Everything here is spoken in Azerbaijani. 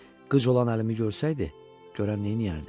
Qıc olan əlimi görsəydi, görən neyniyərdi?